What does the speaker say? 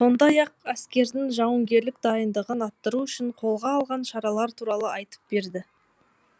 сондай ақ әскердің жауынгерлік дайындығын арттыру үшін қолға алған шаралар туралы айтып берді